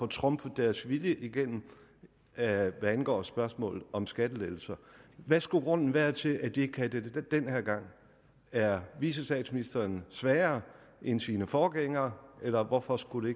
trumfe deres vilje igennem hvad angår spørgsmålet om skattelettelser hvad skulle grunden være til at de ikke kan det den her gang er vicestatsministeren svagere end sine forgængere eller hvorfor skulle